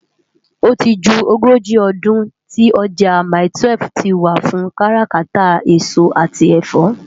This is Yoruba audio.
Óti jú ógóji òdún ti òjá mái-twèf tiwá fún kàrákàtá esó ati ẹfọ.